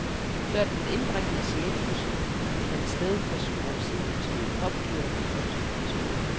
Før den indbringende sjælefusion fandt sted for syv år siden, bestod popdyret af to personer.